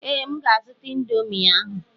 Ee, M ga-azụta ịndomii ahụ.